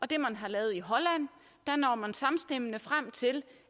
det man har lavet i holland når man samstemmende frem til